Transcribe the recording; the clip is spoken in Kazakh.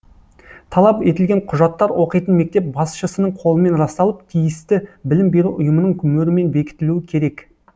талап етілген құжаттар оқитын мектеп басшысының қолымен расталып тиісті білім беру ұйымының мөрімен бекітілуі керек